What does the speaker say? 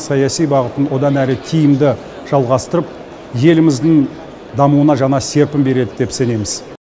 саяси бағытын одан әрі тиімді жалғастырып еліміздің дамуына жаңа серпін береді деп сенеміз